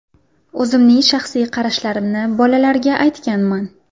O‘zimning shaxsiy qarashlarimni bolalarga aytganman.